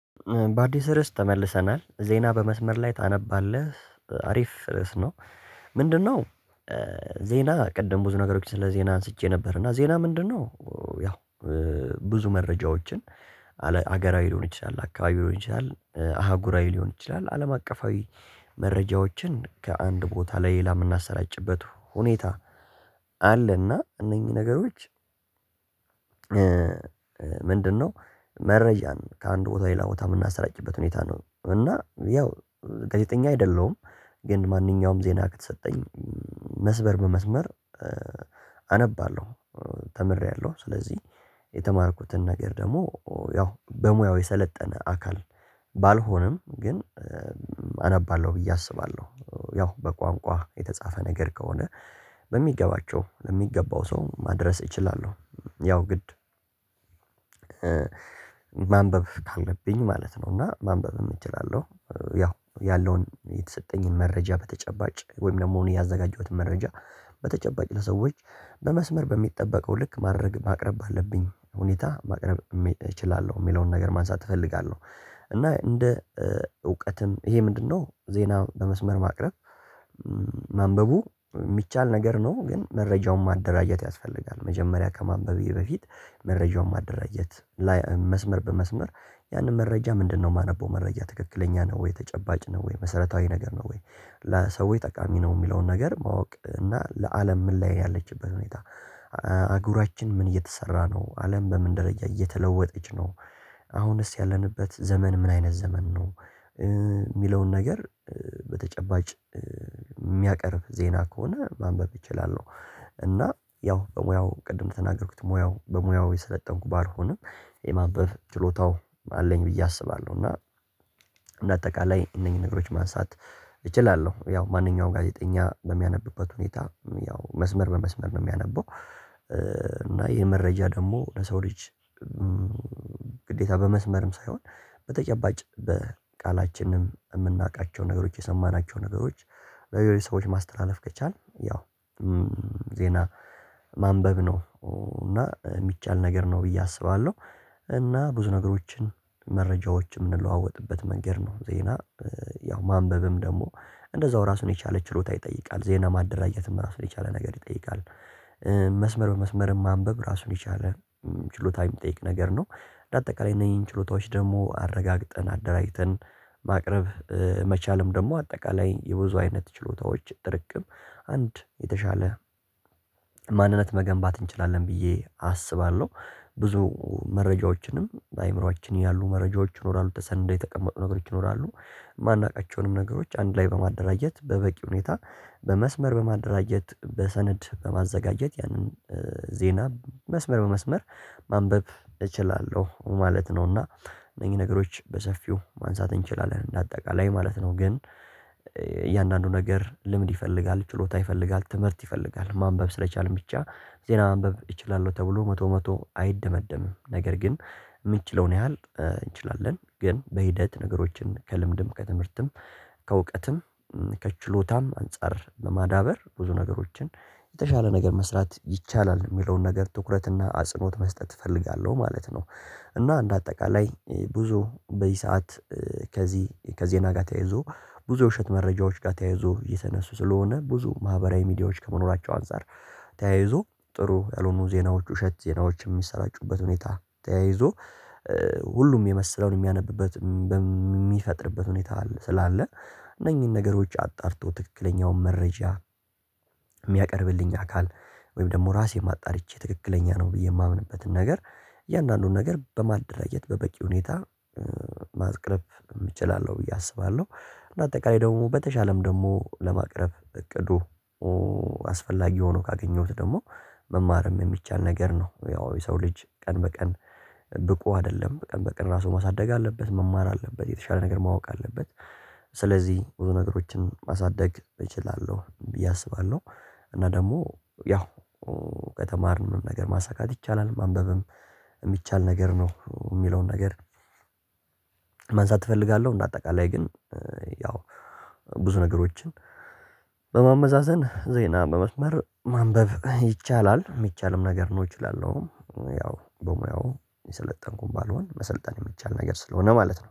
በአዲስ ርዕስ ተመልሰናል ዜና በመስመር ላይ ታነባለህ አሪፍ ርዕስ ነው ምንድነው ዜና ቅድም ብዙ ነገሮች ስለ ዜና አንስቼ ነበር እና ዜና ምንድነው ያው ብዙ መረጃዎችን አገራዊ ሊሆን ይችላል አካባቢ ሊሆን ይችላል አህጉራዊ ሊሆን ይችላል አለም አቀፋዊ መረጃዎችን ከአንድ ቦታ ላይ ለሌላ የምናሰራጭበት ሁኔታ አለና እነኚህ ነገሮች ምንድነው መረጃን ከአንድ ቦታ ሌላ ቦታ የምናሰራጭበት ሁኔታ ነው እና ያው ጋዜጠኛ አይደለሁም ግን ማንኛውም ዜና ከተሰጠኝ መስበር በመስመር አነባለሁ ተምሬያለሁ ስለዚህ የተማርኩትን ነገር ደግሞ ያው በሙያው የሰለጠነ አካል ባልሆንም ግን አነባለሁ ብዬ አስባለሁ ያው በቋንቋ የተጻፈ ነገር ከሆነ በሚገባቸው ለሚገባው ሰው ማድረስ እችላለሁ ያው ግድ ማንበብ ካለብኝ ማለት ነው እና ማንበብም እችላለሁ ያው ያለውን የተሰጠኝን መረጃ በተጨባጭ ወይም ደግሞ እኔ ያዘጋጀሁትን መረጃ በተጨባጭ ለሰዎች በመስመር በሚጠበቀው ልክ ማድረግ ማቅረብ ባለብኝ ሁኔታ ማቅረብ እችላለሁ የሚለውን ነገር ማንሳት እፈልጋለሁ እና እንደ እውቀትም ይሄ ምንድነው ዜና በመስመር ማቅረብ ማንበቡ የሚቻል ነገር ነው ግን መረጃውን ማደራጀት ያስፈልጋል። መጀመሪያ ከማንበቤ በፊት መረጃውን ማደራጀት መስመር በመስመር ያንን መረጃ ምንድነው የማነበው መረጃ ትክክለኛ ነው ወይ ተጨባጭ ነው ወይ መሰረታዊ ነገር ነው ወይ ለሰው ወይ ጠቃሚ ነው የሚለውን ነገር ማወቅ እና ለአለም ምን ላይ ያለችበት ሁኔታ አጉራችን ምን እየተሰራ ነው አለም በምን ደረጃ እየተለወጠች ነው አሁንስ ያለንበት ዘመን ምን አይነት ዘመን ነው የሚለውን ነገር በተጨባጭ የሚያቀርብ ዜና ከሆነ ማንበብ እችላለሁ እና ያው በሙያው ቅድም ተናገርኩት ሙያው በሙያው የሰለጠንኩ ባልሆንም የማንበብ ችሎታው አለኝ ብዬ አስባለሁ እና በአጠቃላይ እነኚህ ነገሮች ማንሳት እችላለሁ ያው ማንኛውም ጋዜጠኛ በሚያነብበት ሁኔታ ያው መስመር በመስመር ነው የሚያነበው እና ይሄ መረጃ ደግሞ ለሰው ልጅ ግዴታ በመስመርም ሳይሆን በተጨባጭ በቃላችንም የምናውቃቸው ነገሮች የሰማናቸው ነገሮች ለሌሎች ሰዎች ማስተላለፍ ከቻልን ያው ዜና ማንበብ ነው እና የሚቻል ነገር ነው ብዬ አስባለሁ እና ብዙ ነገሮችን መረጃዎች የምንለዋወጥበት መንገድ ነው ዜና ያው ማንበብም ደግሞ እንደዛው ራሱን የቻለ ችሎታ ይጠይቃል ዜና ማደራጀትም ራሱን የቻለ ነገር ይጠይቃል መስመር በመስመርም ማንበብ ራሱን የቻለ ችሎታ የሚጠይቅ ነገር ነው ለአጠቃላይ እነዚህን ችሎታዎች ደግሞ አረጋግጠን አደራጅተን ማቅረብ መቻልም ደግሞ አጠቃላይ የብዙ አይነት ችሎታዎች ጥርቅም አንድ የተሻለ ማንነት መገንባት እንችላለን ብዬ አስባለሁ ብዙ መረጃዎችንም በአእምሮአችን ያሉ መረጃዎች ይኖራሉ ተሰንደው የተቀመጡ ነገሮች ይኖራሉ የማናውቃቸውንም ነገሮች አንድ ላይ በማደራጀት በበቂ ሁኔታ በመስመር በማደራጀት በሰነድ በማዘጋጀት ያንን ዜና መስመር በመስመር ማንበብ እችላለሁ ማለት ነው እና እነዚህ ነገሮች በሰፊው ማንሳት እንችላለን እንደ አጠቃላይ ማለት ነው ግን እያንዳንዱ ነገር ልምድ ይፈልጋል፣ ችሎታ ይፈልጋል፣ ትምህርት ይፈልጋል ማንበብ ስለቻልን ብቻ ዜና ማንበብ እችላለሁ ተብሎ መቶ መቶ አይደመደምም ነር ግን የምትችለውን ያህል እንችላለን ግን በሂደት ነገሮችን ከልምድም ከትምህርትም ከእውቀትም ከችሎታም አንፃር ለማዳበር ብዙ ነገሮችን የተሻለ ነገር መስራት ይቻላል የሚለውን ነገር ትኩረትና አጽኖት መስጠት እፈልጋለሁ ማለት ነው። እና እንደ አጠቃላይ ብዙ በዚህ ሰዓት ከዚህ ከዜና ጋር ተያይዞ ብዙ ውሸት መረጃዎች ጋር ተያይዞ የተነሱ ስለሆነ ብዙ ማህበራዊ ሚዲያዎች ከመኖራቸው አንፃር ተያይዞ ጥሩ ያልሆኑ ዜናዎች ውሸት ዜናዎች የሚሰራጩበት ሁኔታ ተያይዞ ሁሉም የመሰለውን የሚያነብበት የሚፈጥርበት ሁኔታ አለ ስላለ እነኚህን ነገሮች አጣርተው ትክክለኛውን መረጃ የሚያቀርብልኝ አካል ወይም ደግሞ ራሴም አጣርቼ ትክክለኛ ነው ብዬ የማምንበትን ነገር እያንዳንዱን ነገር በማደራጀት በበቂ ሁኔታ ማቅረብ እችላለለሁ ብዬ አስባለሁ እንደ አጠቃላይ ደግሞ በተሻለም ደግሞ ለማቅረብ እቅዱ አስፈላጊ ሆኖ ካገኘሁት ደግሞ መማርም የሚቻል ነገር ነው ያው የሰው ልጅ ቀን በቀን ብቁ አይደለም በቀን በን ራሱ ማሳደግ አለበት መማር አለበት የተሻለ ነገር ማወቅ አለበት ስለዚህ ብዙ ነገሮችን ማሳደግ እችላለሁ ብዬ አስባለሁ እና ደግሞ ያው ከተማርን ምንም ነገር ማሳካት ይቻላል ማንበብም የሚቻል ነገር ነው የሚለውን ነገር ማንሳት እፈልጋለሁ እንደ አጠቃላይ ግን ያው ብዙ ነገሮችን በማመዛዘን ዜና በመስመር ማንበብ ይቻላል የሚቻልም ነገር ነው እችላለሁ ያው በሙያው የሰለጠንኩን ባልሆን መሰልጠን የሚቻል ነገር ስለሆነ ማለት ነው